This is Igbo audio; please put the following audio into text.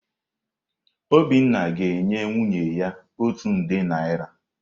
Obiọma ga-enye nwunye ya otu nde naịra.